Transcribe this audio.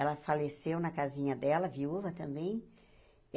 Ela faleceu na casinha dela, viúva também.